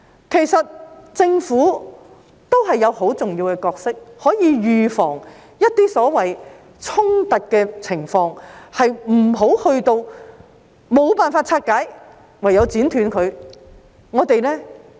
其實，政府也有很重要的角色，可以預防一些所謂衝突的情況，不用等到無法拆解時便唯有剪斷它。